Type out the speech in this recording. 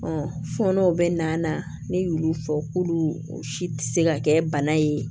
fɔɔnɔ bɛ na ne y'olu fɔ k'olu si tɛ se ka kɛ bana ye